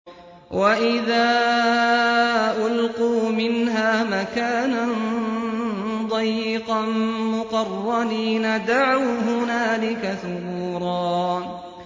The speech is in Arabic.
وَإِذَا أُلْقُوا مِنْهَا مَكَانًا ضَيِّقًا مُّقَرَّنِينَ دَعَوْا هُنَالِكَ ثُبُورًا